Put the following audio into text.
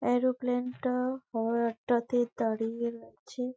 Aeroplane টা একটাতে দাঁড়িয়ে আছে ।